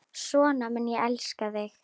Svona mun ég elska þig.